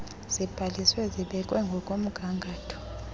zibhaliswe zibekwe ngokomgangatho